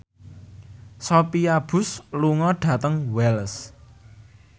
Sophia Bush lunga dhateng Wells